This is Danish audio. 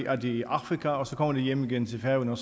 er de i afrika og så kommer de hjem igen til færøerne